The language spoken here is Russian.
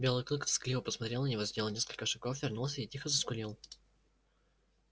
белый клык тоскливо посмотрел на него сделал несколько шагов вернулся и тихо заскулил